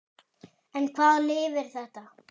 En hvaða lyf er þetta?